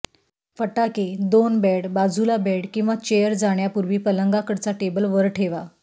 फटाके दोन बेड बाजूला बेड किंवा चेअर जाण्यापूर्वी पलंगाकडचा टेबल वर ठेवा